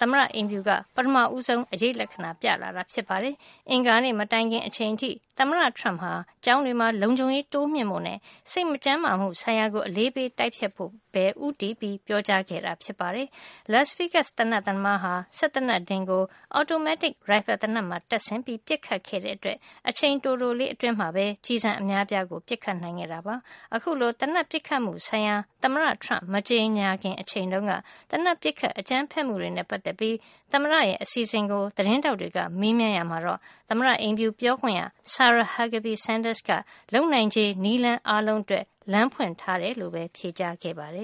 သမ္မတအိမ်ဖြူက ပထမဆုံး အရိပ်လက္ခဏာ ပြလာတာ ဖြစ်ပါတယ်။ အင်္ဂါနေ့မတိုင်ခင်အချိန်အထိ သမ္မတ Trump ဟာ ကျောင်းတွေမှာ လုံခြုံရေးတိုးမြှင့်ဖို့နဲ့ စိတ်မကျန်းမာမှု ဆိုင်ရာကို အလေးပေး တိုက်ဖျက်ဖို့ ပဲ ဦးတည်ပြောကြားခဲ့တာ ဖြစ်ပါတယ်။ Las Vegas သေနတ်သမားဟာ စက်သေနတ်ဒင်ကို အော်တိုမက်တစ် ရိုင်ဖယ်သေနတ်မှာ တပ်ဆင်ပြီး ပစ်ခတ်ခဲ့တဲ့အတွက် အချိန်တိုလေး အတွင်းမှာ ကျည်ဆံအများအပြား ပစ်ခတ်နိုင်ခဲ့တာပါ။ အခုလို သေနတ်ပစ်ခတ်မှုဆိုင်ရာ သမ္မတ Trump မကြေညာခင် အချိန်တုန်းက သေနတ်ပစ်ခတ် အကြမ်းဖက်မှုတွေနဲ့ ပတ်သက်ပြီး သမ္မတရဲ့ အစီအစဉ်ကို သတင်းထောက်တွေက မေးမြန်းရာမှာ သမ္မတအိမ်ဖြူပြောခွင့်ရ Sarah Huckabee Sanders က လုပ်နိုင်ခြေ နည်းလမ်း အားလုံးအတွက် လမ်းဖွင့်ထားကြောင်း ဖြေကြားခဲ့ပါတယ